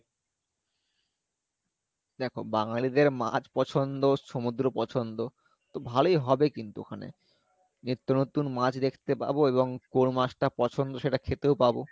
দেখো বাঙালিদের মাছ পছন্দ সমুদ্র পছন্দ তো ভালোই হবে কিন্তু ওখানে নিত্যনতুন মাছ দেখতে পাবো এবং কোন মাছটা পছন্দ সেটা খেতেও পাবো